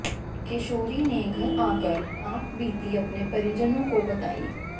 किशोरी ने घर आकर आपबीती अपने परिजनों को बतायी